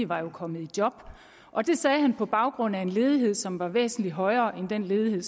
var kommet i job og det sagde han på baggrund af en ledighed som var væsentlig højere end den ledighed